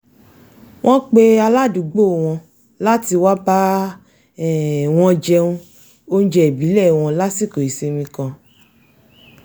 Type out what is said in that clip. wọ́n pe aládùúgbò wọn láti wá bá um wọn jẹ oúnjẹ ìbílẹ̀ wọn lásìkò ìsinmi kan